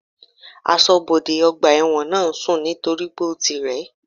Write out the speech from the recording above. Asọ́bodè ọgbà ẹ̀wọ̀n náà ń sùn nítorípé ó ti rẹ̀